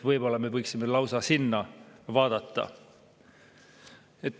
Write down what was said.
Võib-olla me võiksime lausa sinna vaadata.